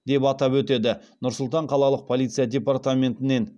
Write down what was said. деп атап өтеді нұр сұлтан қалалық полиция департаментінен